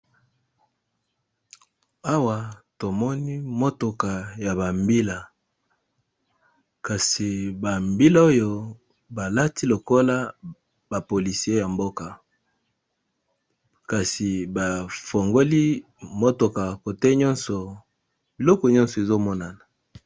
Awa tomoni motoka Yaba mbila Kasi mbila Oyo balati mba bilamba Yaba policier Kasi ba fungola ba porte ta motoka Biko nyoso Ezo monana